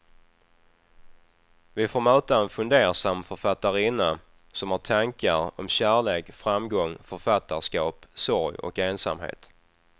Vi får möta en fundersam författarinna som har tankar om kärlek, framgång, författarskap, sorg och ensamhet.